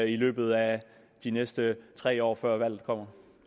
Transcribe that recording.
i løbet af de næste tre år før valget kommer